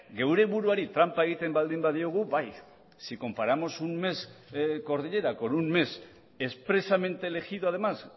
geure buruari tranpa egiten baldin badiogu bai si comparamos un mes cordillera con un mes expresamente elegido además